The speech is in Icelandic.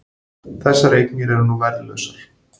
Þessar eignir eru nú verðlausar